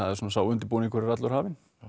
sá undirbúningur er allur hafinn